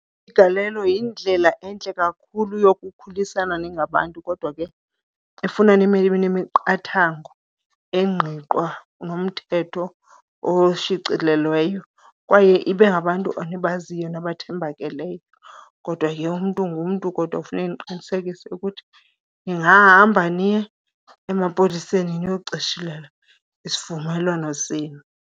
Umgalelo yindlela entle kakhulu yokukhulisana ningabantu, kodwa ke ifuna nibe nemiqathango engqiqwa nomthetho oshicilelweyo kwaye ibe ngabantu enibaziyo nabathembakeleyo. Kodwa ke umntu ngumntu, kodwa ke funeke niqinisekise ukuthi ningahamba niye emapoliseni niyocishilela isivumelwano senu.